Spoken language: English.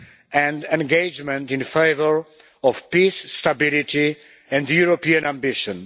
and engagement in favour of peace, stability and European ambition.